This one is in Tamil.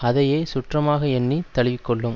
அதையே சுற்றமாக எண்ணி தழுவி கொள்ளும்